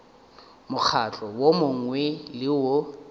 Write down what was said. mokgatlo wo mongwe le wo